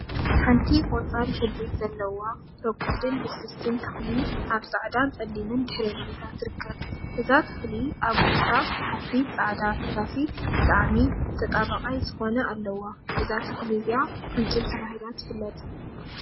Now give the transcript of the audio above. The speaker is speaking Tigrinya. ሓንቲ ቆፃል ሕብሪ ዘለዋ ረጓድን ልስልስቲን ተክሊ አብ ፃዕዳን ፀሊምን ድሕረ ባይታ ትርከብ፡፡ እዛ ተክሊ አብ ውሽጣ ሓፊስ ፃዕዳ ፈሳሲ ብጣዕሚ ተጣበቃይ ዝኮነ አለዋ፡፡ እዛ ተክሊ እዚአ ቅንጭብ ተባሂላ ትፍለጥ፡፡